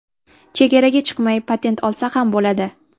Chegaraga chiqmay patent olsa ham bo‘ladi.